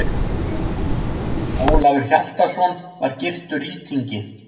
Ólafur Hjaltason var gyrtur rýtingi.